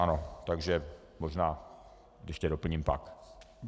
Ano, takže možná ještě doplním pak.